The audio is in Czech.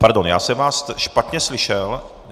Pardon, já jsem vás špatně slyšel.